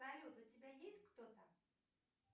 салют у тебя есть кто то